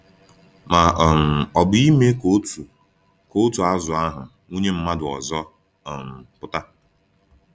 Ma um ọ bụ ime ka otu ka otu azụ ahụ wụnye mmadụ ọzọ um pụta?